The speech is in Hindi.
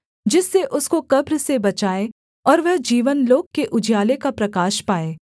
जिससे उसको कब्र से बचाए और वह जीवनलोक के उजियाले का प्रकाश पाए